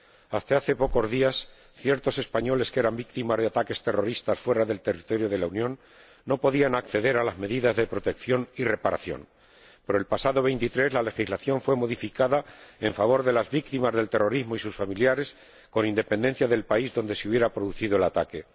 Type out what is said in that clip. Hasta hace pocos días, ciertos españoles que eran víctimas de ataques terroristas fuera del territorio de la Unión no podían acceder a las medidas de protección y reparación, pero, el pasado 23, la legislación fue modificada en favor de las víctimas del terrorismo y sus familiares, con independencia del país donde se hubiera producido el ataque.